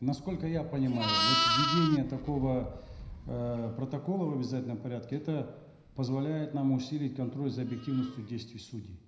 насколько я понимаю вот введение такого э протокола в обязательном порядке это позволяет нам усилить контроль за объективностью действий судей